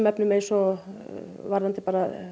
efnum eins og varðandi